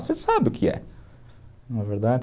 Você sabe o que é. Não é verdade?